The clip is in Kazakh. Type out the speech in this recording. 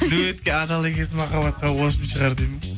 дуэтке адал екенсің махаббатқа шығар дейді ме